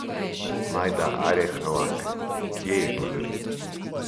Majda Areh Novak: "Kje je problem?